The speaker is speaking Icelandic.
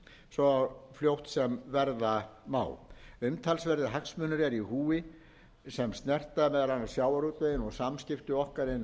svo fljótt sem verða má umtalsverðir hagsmunir eru í húfi sem snerta meðal annars sjávarútveginn og samskipti okkar